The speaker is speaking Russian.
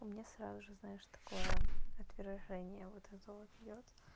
у меня сразу же знаешь такое отвержение вот это вот идёт